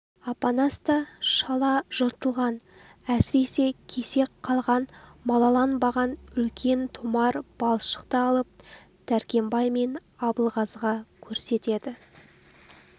апанас та шала жыртылған әсіресе кесек қалған малаланбаған үлкен томар балшықты алып дәркембай мен абылғазыға көрсетеді